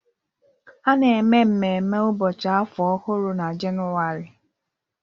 A na-eme mmemme Ụbọchị Afọ Ọhụrụ na Jenụwarị